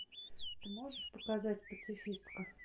ты можешь показать пацифистка